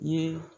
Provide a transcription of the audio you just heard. Ye